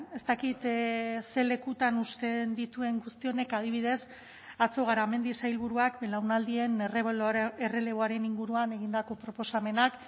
ez dakit ze lekutan uzten dituen guzti honek adibidez atzo garamendi sailburuak belaunaldien erreleboaren inguruan egindako proposamenak